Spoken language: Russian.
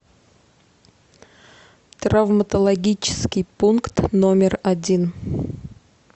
травматологический пункт номер один